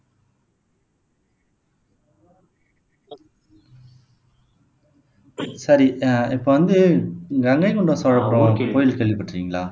சரி அஹ் இப்போ வந்து கங்கை கொண்ட சோழபுரம் கோயில் கேள்விப்பட்டிருக்கீங்களா